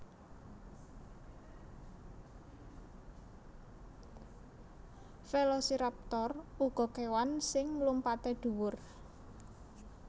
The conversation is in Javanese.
Velociraptor uga kèwan sing mlumpatè dhuwur